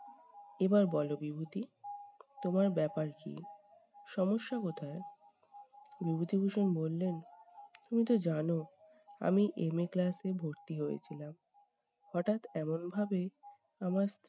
এবার বলো বিভূতি তোমার ব্যাপার কী? সমস্যা কোথায়? বিভূতিভূষণ বললেন তুমি তো জানো আমি MAclass এ ভর্তি হয়েছিলাম। হঠাৎ এমনভাবে আমার